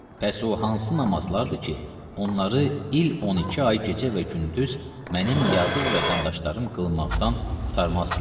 Pəs o hansı namazlardır ki, onları il 12 ay gecə və gündüz mənim yazıq vətəndaşlarım qılmaqdan qurtarmazdılar.